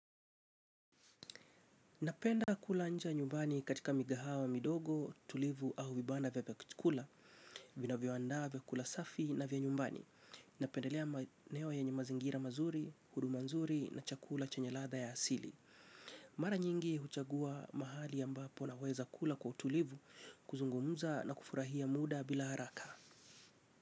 Napenda kula nje ya nyumbani katika migahawa midogo, tulivu au vibanda vya chakula, vinavyo andaa vyakula safi na vya nyumbani. Napendelea maeneo yenye mazingira mazuri, huduma nzuri na chakula chenye ladha ya asili. Mara nyingi huchagua mahali ambapo na weza kula kwa utulivu kuzungumuza na kufurahia muda bila haraka.